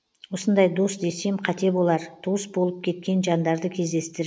осындай дос десем қате болар туыс болып кеткен жандарды кездестір